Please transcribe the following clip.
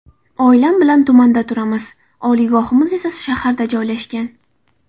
Oilam bilan tumanda turamiz, oliygohimiz esa shaharda joylashgan.